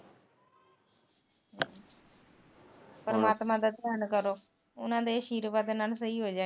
ਪਰਮਾਤਮਾ ਦਾ ਧਿਆਨ ਕਰੋ ਉਹਨਾ ਦੇ ਆਸ਼ੀਰਵਾਦ ਨਾਲ ਸਹੀ ਹੋ ਜਾਣੀ